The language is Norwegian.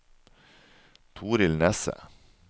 Torild Nesset